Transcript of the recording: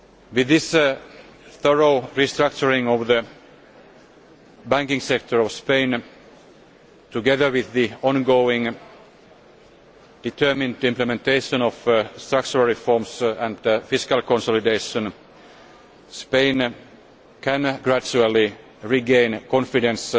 With this thorough restructuring of the banking sector in Spain, together with the ongoing determined implementation of structural reforms and fiscal consolidation, Spain can gradually regain confidence